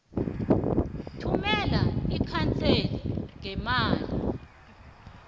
thumela ikhaseli ngeemail